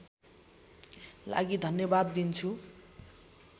लागि धन्यवाद दिन्छु